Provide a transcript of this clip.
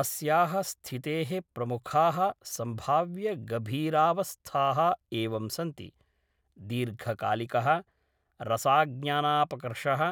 अस्याः स्थितेः प्रमुखाः सम्भाव्यगभीरावस्थाः एवं सन्ति, दीर्घकालिकः रसाज्ञानापकर्षः,